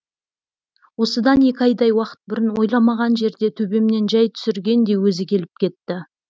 осыдан екі айдай уақыт бұрын ойламаған жерде төбемнен жай түсіргендей өзі келіп кетті